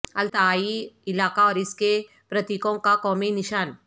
Altai علاقہ اور اس کے پرتیکوں کا قومی نشان